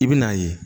I bi n'a ye